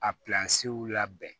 A pansiw labɛn